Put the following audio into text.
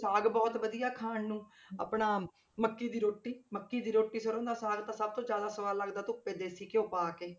ਸਾਗ ਬਹੁਤ ਵਧੀਆ ਖਾਣ ਨੂੰ ਆਪਣਾ ਮੱਕੀ ਦੀ ਰੋਟੀ, ਮੱਕੀ ਦੀ ਰੋਟੀ ਸਰੋਂ ਦਾ ਸਾਗ ਤਾਂ ਸਭ ਤੋਂ ਜ਼ਿਆਦਾ ਸਵਾਦ ਲੱਗਦਾ ਧੁੱਪੇ ਦੇਸ਼ੀ ਗਿਓ ਪਾ ਕੇ।